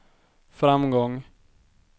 framgång